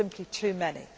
go to all of them. There